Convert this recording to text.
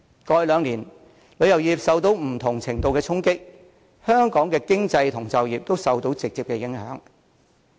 過去兩年，旅遊業受到不同程度的衝擊，香港的經濟和就業都受到直接影響。